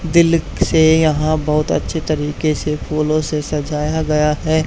दिल से यहां बहोत अच्छे तरीके से फूलों से सजाया गया है।